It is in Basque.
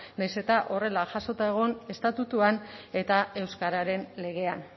nahiz eta horrela jasota egon estatutuan eta euskararen legean